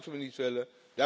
excuus. Dat moeten we niet